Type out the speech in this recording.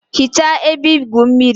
Hichaa ebe igwu mmiri!